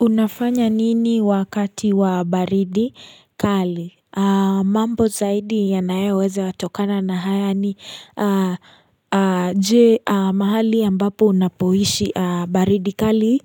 Unafanya nini wakati wa baridi kali? Mambo zaidi yanayoweza tokana na haya ni je mahali ambapo unapoishi baridi kali.